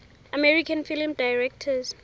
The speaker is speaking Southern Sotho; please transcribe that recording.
american film directors